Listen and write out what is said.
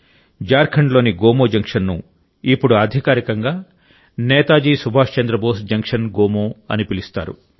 జార్ఖండ్లోని గోమో జంక్షన్ను ఇప్పుడు అధికారికంగా నేతాజీ సుభాష్ చంద్రబోస్ జంక్షన్ గోమో అని పిలుస్తారు